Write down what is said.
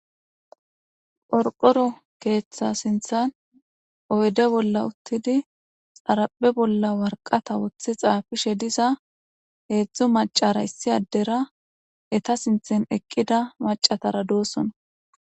Qorqoro keeththa sinthan oyde bolla uttidi xarape bolla warqata woththi xaafishe diza heedzdzu macara issi addera eta sinthan eqqida macatara doosona.